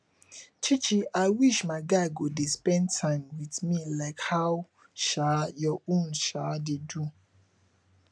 chichi i wish my guy go dey spend time with me like how um your own um dey do